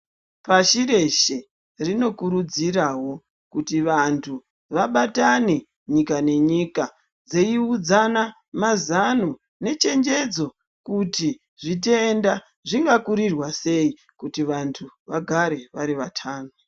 Pashi reshe rinokurudzirawo kuti vanthu vabatane nyika nenyika dzeiudzana mazano nechenjedzo kuti zvitenda zvingakurirwa sei kuti vanthu vagare vari vatano.